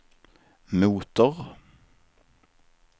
motor